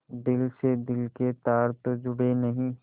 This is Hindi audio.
दिल से दिल के तार तो जुड़े नहीं